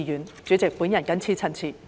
代理主席，我謹此陳辭。